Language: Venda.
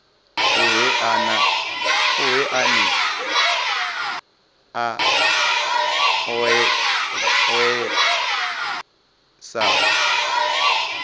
ohe ane a oea sa